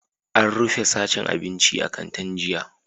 An rufe sashen abinci a kantin jiya?